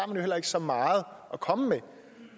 jo heller ikke så meget at komme med